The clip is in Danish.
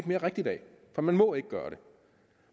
mere rigtigt af for man må ikke gøre det